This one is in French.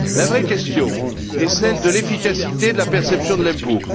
La vraie question est celle de l'efficacité de la perception de l'impôt.